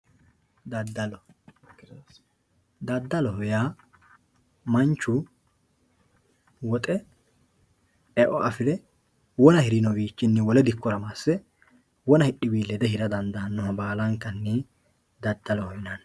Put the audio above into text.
Daddalo, daddaloho yaa manchu woxe eo afire wona hirino bayichinni wole dikkowa masse wona hidhiwi lede hira dandaanoha baallankanni daddaloho yinanni.